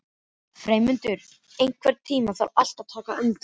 Freymundur, einhvern tímann þarf allt að taka enda.